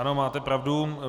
Ano, máte pravdu.